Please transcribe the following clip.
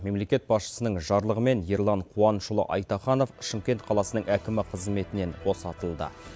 мемлекет басшысының жарлығымен ерлан қуанышұлы айтаханов шымкент қаласының әкімі қызметінен босатылды